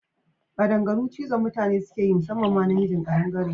Kaɗangaru cizon mutane sukeyi musamman ma na mijin ƙadangare